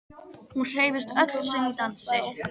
Hún hreyfist öll sem í dansi.